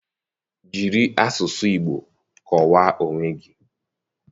Jiri asụsụ Igbo kọwaa onwe gị.